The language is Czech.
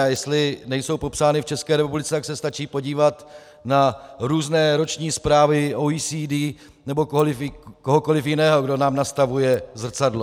A jestli nejsou popsány v ČR, tak se stačí podívat na různé roční zprávy OECD nebo kohokoliv jiného, kdo nám nastavuje zrcadlo.